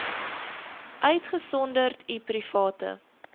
uitgesonderd u private